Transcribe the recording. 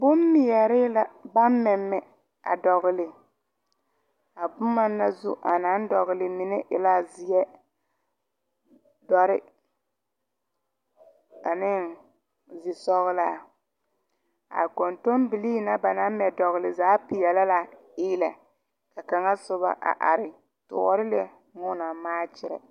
Boŋ mɛɛre la baŋ mɛmɛ a dogle. A boma naŋ zu a na dogle mene e la zie, duore, ane zisɔglaa. A kontonbilii ba na mɛ dogle zaa piele la iile. Kanga suba a are toore lɛ meŋ o na maakyerɛ.